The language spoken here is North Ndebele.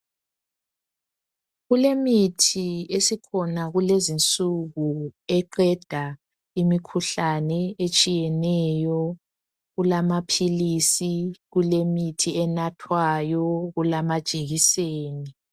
Kulemithi esikhona kulezinsuku eqeda imikhuhlane etshiyeneyo, kulamaphilisi kulemithi enathwayo kulamajekiseni.